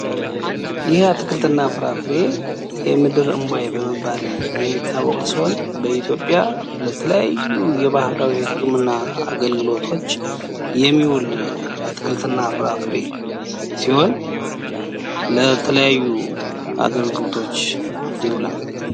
ይህ አትክልትና ፍራፍሬ የምድር እንቧይ በመባል የሚታወቅ ሲሆን ፤ በኢትዮጵያ ለተለያዩ የባህል ህክምና የሚውል ነው።